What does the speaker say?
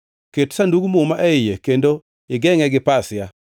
Ket Sandug Muma e iye kendo igengʼe gi pasia.